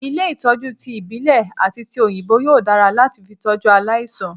Ilé Ìtọ́jú ti ìbílè àti ti òyìnbó yóò dára láti fi tọ́jú aláìsàn.